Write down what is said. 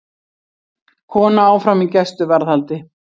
Kona áfram í gæsluvarðhaldi